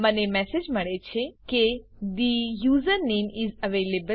મને મેસેજ મળે છે કે the user name is available